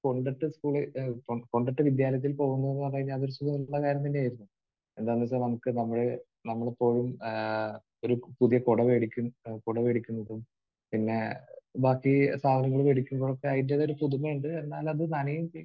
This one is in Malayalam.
കൊണ്ടിട്ട് സ്കൂളിൽ കൊണ്ടിട്ട് വിദ്യാലയത്തിൽ പോകുന്നു എന്ന് പറഞ്ഞ് കഴിഞ്ഞാൽ അത് ഒരു സുഖമുള്ള കാര്യം തന്നെ ആയിരുന്നു. എന്താണെന്ന് വെച്ചാൽ നമുക്ക് നമ്മൾ ഇപ്പോഴും ഏഹ് ഒരു പുതിയ കുട വാങ്ങിക്കും കുട വാങ്ങിക്കുന്നതും പിന്നെ ബാക്കി സാധനങ്ങൾ വാങ്ങിക്കുന്നതും ഒക്കെ അതിന്റെതായൊരു പുതുമയുണ്ട്. എന്നാൽ അത് നനയുകയും ചെയ്യും